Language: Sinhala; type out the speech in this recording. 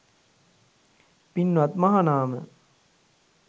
පින්වත් මහනාම,